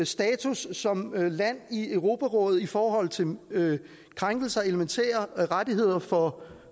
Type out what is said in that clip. status som land i europarådet i forhold til krænkelser af elementære rettigheder for